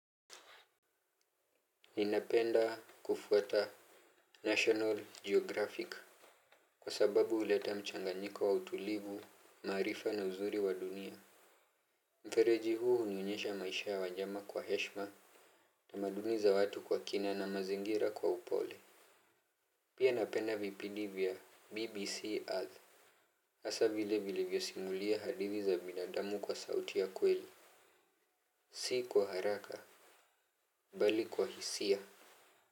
Ninapenda kufuata National Geographic. Kwa sababu uleta mchanganyiko wa utulivu, maarifa na uzuri wa dunia. Mfereji huu unionyesha maisha ya wanyama kwa heshma. Tamaduni za watu kwa kina na mazingira kwa upole. Pia napenda vipidi vya BBC Earth Asa vile vilivyo simulia hadithi za binadamu kwa sauti ya kweli. Si kwa haraka, bali kwa hisia.